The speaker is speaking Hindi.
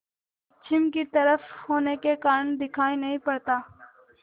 पश्चिम की तरफ होने के कारण दिखाई नहीं पड़ता